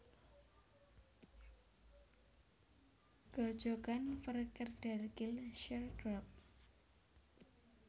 Grojogan VerKeerderkill sheer drop